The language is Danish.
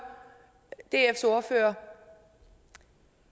dfs ordfører